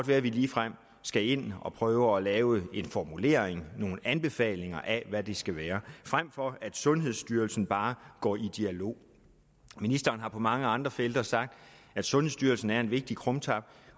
være at vi ligefrem skal ind at prøve at lave en formulering nogle anbefalinger af hvad det skal være frem for at sundhedsstyrelsen bare går i dialog ministeren har på mange andre felter sagt at sundhedsstyrelsen er en vigtig krumtap